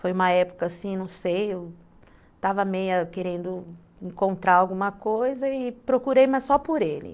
Foi uma época assim, não sei, eu estava meio querendo encontrar alguma coisa e procurei, mas só por ele.